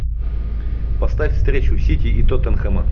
поставь встречу сити и тоттенхэма